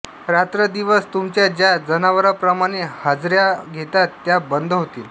रात्रंदिवस तुमच्या ज्या जनावरांप्रमाणे हाजऱ्या घेतात त्या बंद होतील